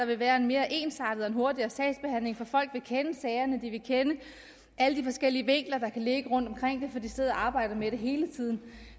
vil være en mere ensartet og hurtigere sagsbehandling for folk vil kende sagerne de vil kende alle de forskellige vinkler der kan ligge rundt omkring det for de sidder og arbejder med det hele tiden